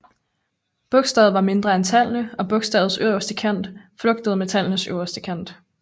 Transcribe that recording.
Bogstavet var mindre end tallene og bogstavets øverste kant flugtede med tallenes øverste kant